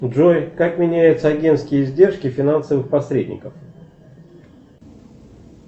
джой как меняются агентские издержки финансовых посредников